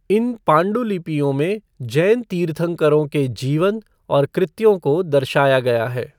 इन पाण्डुलिपियों में जैन तीर्थङ्करों के जीवन और कृत्यों को दर्शाया गया है।